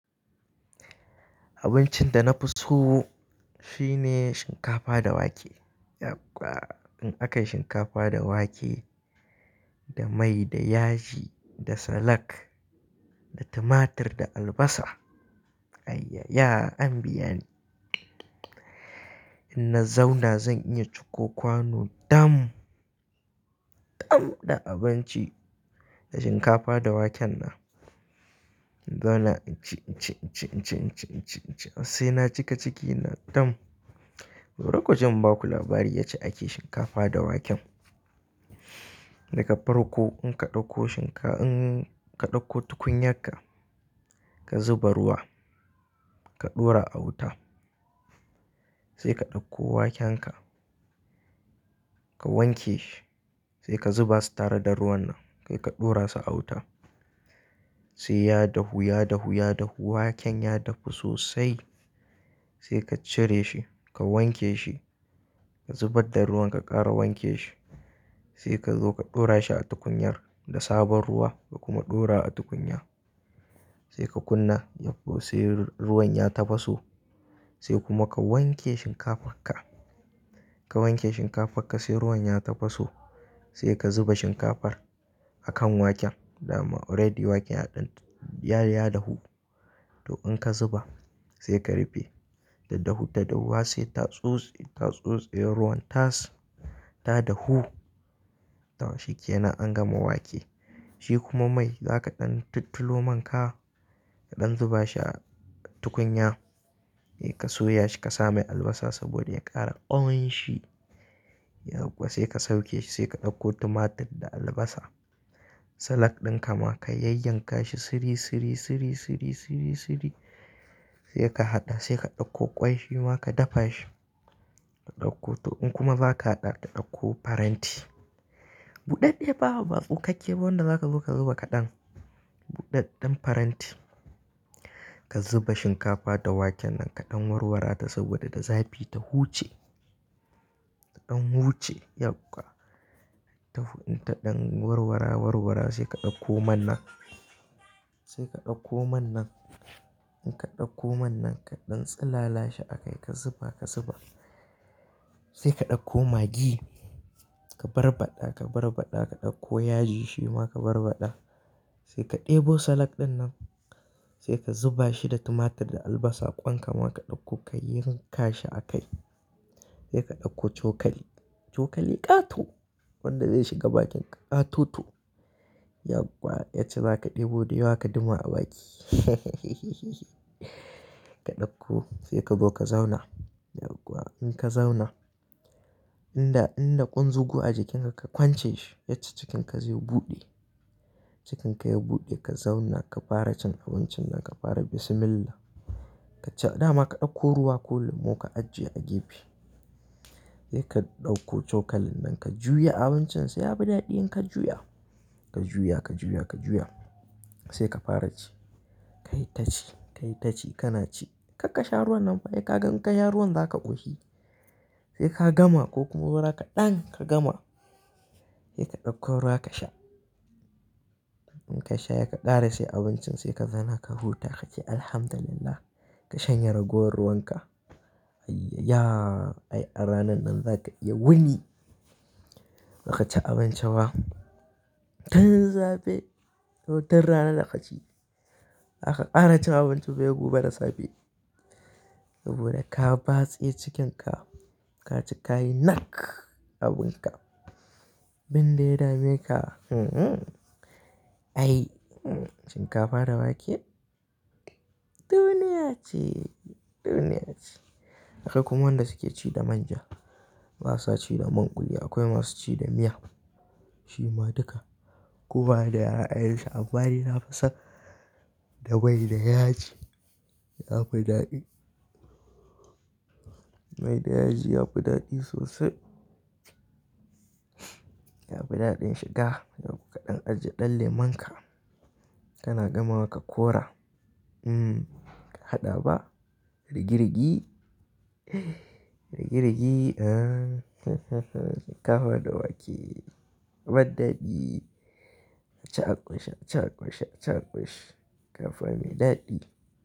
Abincin da na fi so shine shinkafa da wake. Yagwa! In akayi shinkafa da wake, da mai, da yaji, da salak, da tumatir, da albasa. Ayya ya! An biya ni. In na zauna zan iya ciko kwano dam, dam da abinci, da shinkafa da waken nan. In zauna inci, inci, inci, inci, inci, inci, inci har sai na cika cikina dam. Bari kuji inbaku labari yacca ake shinkafa da waken. Daka farko in ka ɗauko shinka-- in ka ɗauko tukunyar ka, ka zuba ruwa, ka ɗora a wuta, sai ka ɗauko wakenka, ka wanke shi, sai ka zuba su tare da ruwan nan, kai ka ɗora su a wuta. Sai ya dahu, ya dahu, ya dahu, waken ya dafu sosai sai ka cire shi, ka wanke shi, ka zubar da ruwan ka ƙara wanke shi. Sai ka zo ka ɗora shi a tukuyar da sabon ruwa ka kuma ɗora a tukunya. Sai ka kunna, yagwgwa! Sai ruwan ya tafaso sai kuma ka wanke shinkafarka. Ka wanke shinkafarka sai ruwan ya tafaso sai ka zuba shinkafar a kan waken. Dama already waken ya ɗan, ya, ya dahu. To in ka zuba sai ka rufe. Ta dahu, ta dahu har sai tatsos, tatsosiyar ruwan tas, ta dahu. Taw shi ke nan an gama wake. Shi kuma mai za ka ɗan tultulo man ka, ka ɗan zuba shi a tukunya, sai ka soya shi ka sa mai albasa saboda ya ƙara ƙawun shi. Yabwa! Sai ka sauke shi sai ka ɗauko tumatir da albasa. Salak ɗin ka ma ka yayyanka shi siri, siri, siri, siri, siri, siri sai ka haɗa sai ka ɗauko ƙwai shima ka dafa shi. Ka ɗauko to in kuma za ka haɗa ka ɗauko faranti. Buɗaɗɗe fa ba tsukakkeba wanda za ka zo ka zuba kaɗan. Buɗaɗɗen faranti. Ka zuba shinkafa da waken nan ka ɗan warwara ta saboda da zafi ta huce. Ta ɗan huce yabwa! Ta hu in ta ɗan warwara, warwara sai ka ɗauko man nan. Sai ka ɗauko man nan. In ka ɗauko man nan ka ɗan tsilala shi a kai ka zuba, ka zuba. Sai ka ɗauko maggi ka barbaɗa, ka barbaɗa ka ɗauko yaji shima ka barbaɗa. Sai ka ɗebo salak ɗin nan sai ka zuba shi da tumatir da albasa ƙwan kama ka ɗauko ka yayyanka shi a kai. Sai ka ɗauko cokali. Cokali ƙato. Wanda zai shiga bakinka ƙatoto. Yagwgwa! Ya ce za ka ɗebo dayawa ka duma a baki. Ka ɗauko sai ka zo ka zauna. Yagwgwa! In ka zauna, in da, in da ƙunzugu a jikinka ka kwance shi ya cca cikinka zai buɗe. Cikinka ya buɗe ka zauna ka fara cin abincin nan ka fara "Bismillah". Ka ce dama ka ɗauko ruwa ko lemon ka ajiye a gefe. Sai ka ɗauko cokalin nan ka juya abincin sai ya bi daɗi in ka juya. Ka juya, ka juya, ka juya sai ka fara ci. Ka yi ta ci, ka yi ta ci, kana ci. Karka sha ruwan nan baya ka gan-- ka sha ruwan za ka ƙoshi. Sai ka gama ko kuma zo ka ɗan ka gama. Sai ka ɗauko ruwa ka sha. In ka sha yakan ƙare sai abincin sai ka zauna ka huta ka ce "Alhamdulillah" ka shanyarago ruwan ka. Ayya ya! Ai a ranan nan za ka yi wuni. Baka ci abinci ba. Tan zafi. To tan rana da ka ci. Aka ƙara cin abinci bai gu ba da zafi. Saboda ka batse cikinka, ka ci kayi nak abin ka. Binda ya dame ka, Ai, shinkafa da wake duniya ce, duniya ce. Akwai kuma wanda suke ci da manja. Masa ci da manƙuli akwai masu ci da miya. Shima duka. Kuma da a'a'ar shi abbaɗi na fi son da mai da yaji. Ya fi daɗi. Mai da yaji ya fi daɗi sosai. Ya fi daɗin shiga. Yagwdwa! Ka ɗan ajiye ɗan lemon ka. Kana gama wa ka kora. Haɗa ba? Rigi, rigi? Rigi, rigi? Ahh! Shinkafa da wake abaɗdaɗi. A ci a ƙunshe, a ci a ƙunshe, a ci a ƙunshe. Shinkafa mai daɗi.